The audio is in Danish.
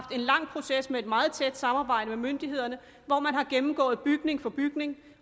en lang proces med et meget tæt samarbejde med myndighederne hvor man har gennemgået bygning for bygning